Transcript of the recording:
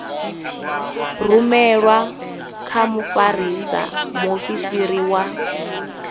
rumelwe kha mfarisa muofisiri wa